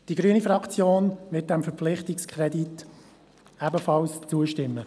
Die grüne Fraktion wird diesem Verpflichtungskredit ebenfalls zustimmen.